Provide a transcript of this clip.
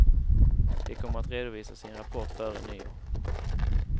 De kommer att redovisa sin rapport före nyår.